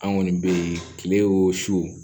An kɔni be kile o su